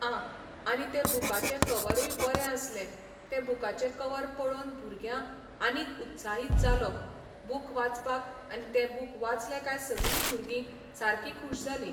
आं आनी तें बुकाचें कवरूय बरें आसले तें बुकाचें कवर पळोवन भुरग्यां आनीक उत्साहीत जालो बूक वाचपाक आनी ते बूक वाचले काय सगलीं भुरगीं, सारकीं खूश जालीं.